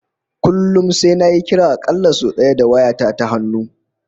Kullum sai nayi kira a kalla sai daya da waya ta ta hannu